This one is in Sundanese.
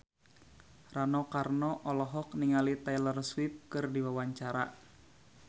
Rano Karno olohok ningali Taylor Swift keur diwawancara